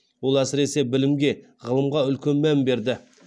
ол әсіресе білімге ғылымға үлкен мән берді